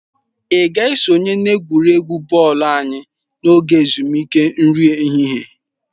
Ị ga-esonye n'egwuregwu bọọlụ anyị n'oge ezumike nri ehihie?